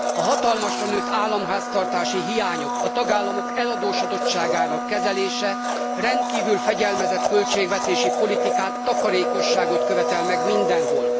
A hatalmasra nőtt államháztartási hiányok, a tagállamok eladósodottságának kezelése rendkívül fegyelmezett költségvetési politikát, takarékosságot követel meg mindenhol.